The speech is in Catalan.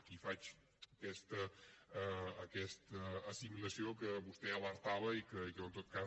aquí faig aquesta assimilació de què vostè alertava i que jo en tot cas